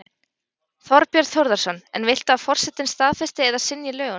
Þorbjörn Þórðarson: En viltu að forsetinn staðfesti eða synji lögunum?